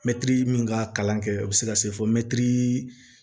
Mɛtiri min ka kalan kɛ o bɛ se ka se fɔ mɛtiri